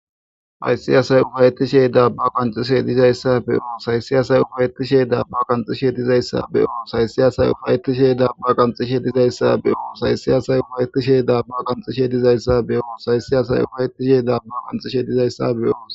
Haysi asay ufayti shey dabba qanxishe dizayssa beoo saysi asay ufayeti shee daabba qanxishe dizayssa beyo saysi asay ufaytishe dabba qanxishe dizayssa be'o saysi asay ufaytishe daabba qamxishe dizayssa beyo saysi asay ufaytishe daabba qanxishe dizayssa be'oos